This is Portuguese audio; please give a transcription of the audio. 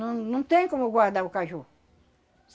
Não, não tem como guardar o caju.